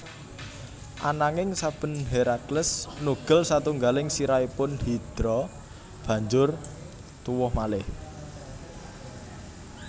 Ananging saben Herakles nugel satunggaling sirahipun Hidra banjur tuwuh malih